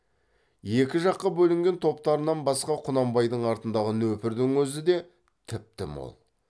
екі жаққа бөлінген топтарынан басқа құнанбайдың артындағы нөпірдің өзі де тіпті мол